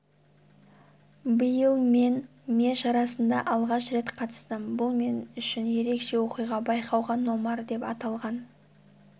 биыл мен ме шарасына алғаш рет қатыстым бұл мен үшін ерекше оқиға байқауға номар деп аталған